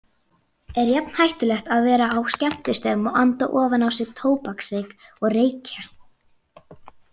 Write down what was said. Er jafn hættulegt að vera á skemmtistöðum og anda ofan í sig tóbaksreyk og reykja?